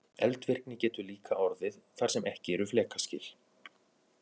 Eldvirkni getur líka orðið þar sem ekki eru flekaskil.